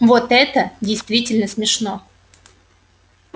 вот это действительно смешно